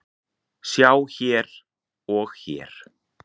Sjá hér og hér.